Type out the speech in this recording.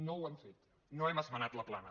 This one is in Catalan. no ho hem fet no hem esmenat la plana